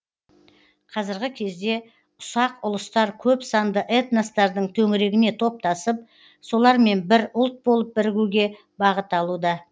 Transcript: қазіргі кезде ұсақ ұлыстар көп санды этностардың төңірегіне топтасып солармен бір ұлт болып бірігуге бағыт алуда